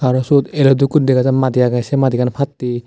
te sut elo dokki guri dega jar madi agey se madigan pattey.